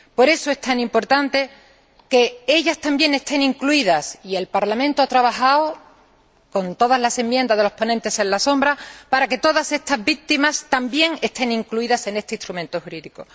Por eso es tan importante que ellas también estén incluidas, y el Parlamento ha trabajado, con todas las enmiendas de los ponentes en la sombra para que todas estas víctimas también estén incluidas en este instrumento jurídico.